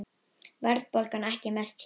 Verðbólgan ekki mest hér